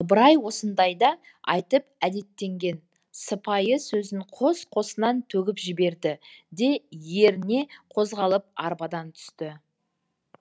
ыбырай осындайда айтып әдеттенген сыпайы сөзін қос қосынан төгіп жіберді де еріне қозғалып арбадан түсті